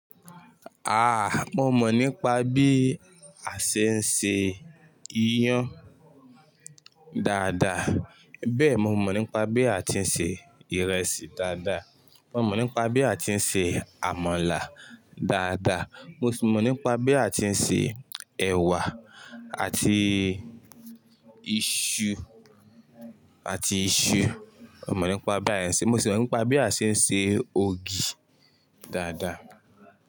Ah, mo mọ̀ nípa bí a ṣe ń ṣe iyán dáadáa, bẹ́ẹ̀ mo mọ̀ nípa bí a ti ń ṣe ìrẹsì dáadáa. Mo mọ̀ nípa bí a ti ń ṣe àmàlà dáadáa, mo sì mọ̀ nípa bí a ti ń ṣe ẹ̀wà àti iṣu àti iṣu. Mo mọ̀ nípa báyìí ṣe, mo sì mọ̀ nípa bí a ṣe ń ṣe ògì dáadáa.